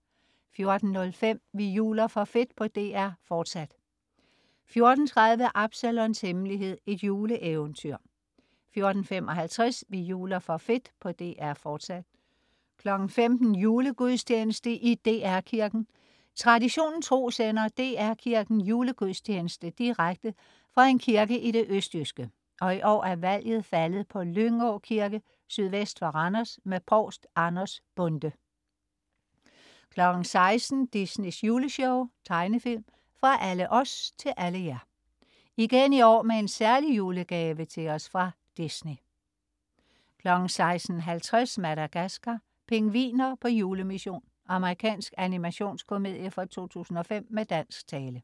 14.05 Vi juler for fedt på DR1, fortsat 14.30 Absalons Hemmelighed. Et juleeventyr 14.55 Vi juler for fedt på DR1, fortsat 15.00 Julegudstjeneste i DR Kirken. Traditionen tro sender DR Kirken julegudstjeneste direkte fra en kirke i det østjyske, og i år er valget faldet på Lyngå Kirke sydvest for Randers med Provst Anders Bonde 16.00 Disneys Juleshow. Tegnefilm. Fra alle os til alle jer: Igen i år med en særlig julegave til os fra Disney 16.50 Madagascar: Pingviner på julemission. Amerikansk animationskomedie fra 2005 med dansk tale